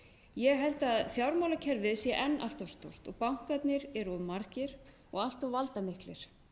ég held að fjármálakerfið sé enn allt of stórt og bankarnir eru of margir og allt of valdamiklir